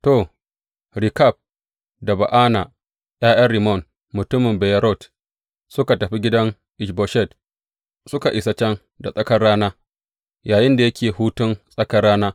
To, Rekab da Ba’ana, ’ya’yan Rimmon mutumin Beyerot, suka tafi gidan Ish Boshet, suka isa can da tsakar rana yayinda yake hutun tsakar rana.